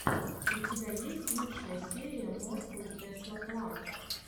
у тебя есть лучшая серия москоу тесла клаб